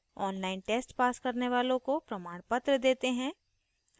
online test pass करने वालों को प्रमाणपत्र देते हैं